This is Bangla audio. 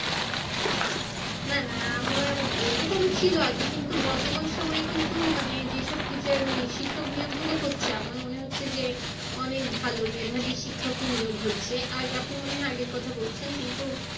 না না এরকম ছিল আগে কিন্তু বর্তমান সময়ে কিন্তু মানে যে সব teacher শিক্ষক নিয়োগ গুলো হচ্ছে আমার মনে হচ্ছে যে অনেক ভালো মেধাবী শিক্ষকই নিয়োগ হচ্ছে। আপনি মনে হয় আগের কথা বলছেন কিন্তু